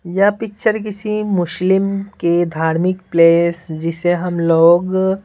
यह पिक्चर किसी मुस्लिम के धार्मिक प्लेस जिसे हम लोग --